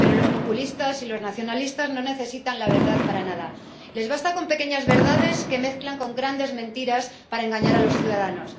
pero los populistas y los nacionalistas no necesitan la verdad para nada, les basta con pequeñas verdades que mezclan con grandes mentiras para engañar a los ciudadanos.